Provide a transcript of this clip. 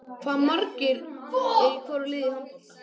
Hvað eru margir í hvoru liði í handbolta?